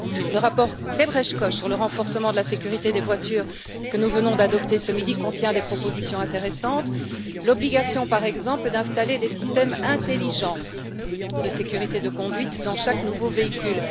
Le rapport Lebrecht Koch sur le renforcement de la sécurité des véhicules, que nous venons d'adopter ce midi, contient des propositions intéressantes, par exemple l'obligation d'installer des systèmes intelligents de sécurité de la conduite dans chaque nouveau véhicule.